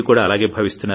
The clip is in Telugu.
మీరు కూడా అలాగే